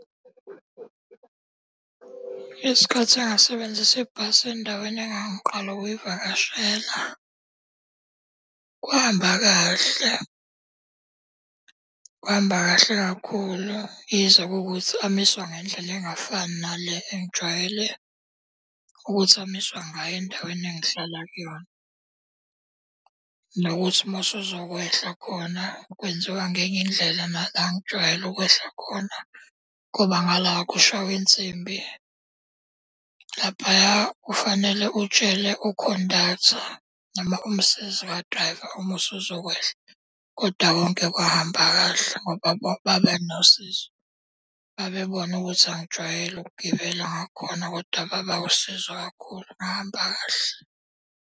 Isikhathi engasebenzisa ibhasi endaweni engangiqala ukuyivakashela. Kwahamba kahle, kwahamba kahle kakhulu yize kuwukuthi amiswa ngendlela engafani nale engijwayele ukuthi amiswa ngayo endaweni engihlala kuyona. Nokuthi uma usuzokwehla khona kwenziwa ngenye indlela nala engijwayele ukwehla khona, ngoba ngala kushaywa insimbi. Laphaya kufanele utshele ukhondaktha noma umsizi ka-driver uma usuzokwehla. Kodwa konke kwahamba kahle ngoba babenosizo. Babebona ukuthi angijwayele ukugibela ngakhona kodwa baba usizo kakhulu ngahamba kahle.